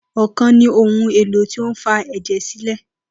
Okan ni ohun elo ti o fa ẹjẹ silẹ.